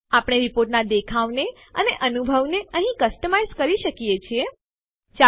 આપણે રિપોર્ટનાં દેખાવને અને અનુભવને અહીં કસ્ટમાઈઝ વૈવિધ્યપૂર્ણ કરી શકીએ છીએ